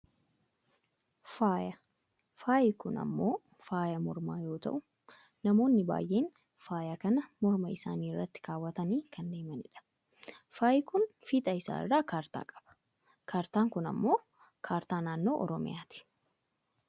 Faaya, faayi kun ammoo faaya mormaa yoo ta'u, namoonni baayyeen faaya kana morma isaanii irratti kaawwatanii kan deemanidha. Faayi kun fiixa isaa irraa kaartaa qaba. Kaartaan kun ammoo kaartaa naannoo oromiyaati.